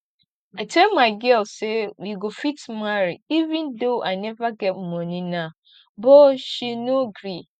i tell my girl say we go fit marry even though i never get money now but she no gree